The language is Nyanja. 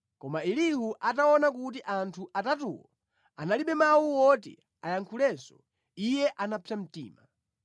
Koma Elihu ataona kuti anthu atatuwo analibe mawu oti ayankhulenso, iye anapsa mtima.